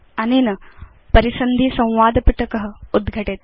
अनेन परिसन्धि संवादपिटक उद्घटेत्